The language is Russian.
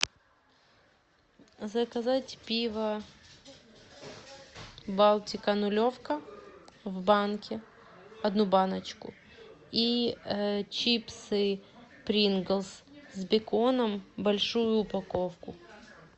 заказать пиво балтика нулевка в банке одну баночку и чипсы принглс с беконом большую упаковку